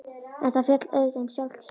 En það féll auðvitað um sjálft sig.